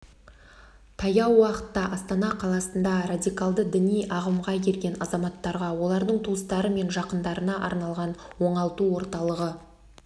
таяу уақытта астана қаласында радикалды діни ағымға ерген азаматтарға олардың туыстары мен жақындарына арналған оңалту орталығы